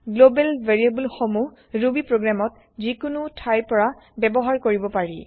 global variable সমুহ Ruby প্ৰগ্ৰেমত যিকোনো থাইৰ পৰা ব্যৱহাৰ কৰিব পাৰি